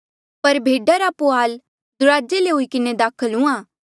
पर भेडा रा पुहाल दुराजे ले हुई किन्हें दाखल हुंहां